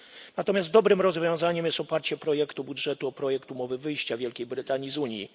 Natomiast dobrym rozwiązaniem jest oparcie projektu budżetu o projekt umowy wyjścia Wielkiej Brytanii z Unii.